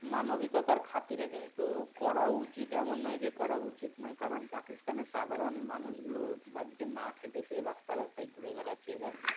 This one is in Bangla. মানবিকতার খাতিরে কিন্তু করাও উচিত এমন নয় যে করা উচিত নয় কারণ পাকিস্তান এর সাধারণ মানুষগুলো বাড়িতে না খেতে পেয়ে রাস্তায় রাস্তায় ঘুরে বেড়াচ্ছে। এবার।